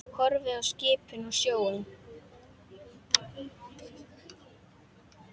Horfir á skipin og sjóinn.